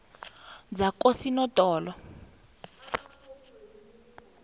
zakosinodolo